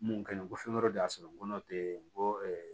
Mun ka ɲi ko fɛn wɛrɛ de y'a sɔrɔ n'o tɛ n ko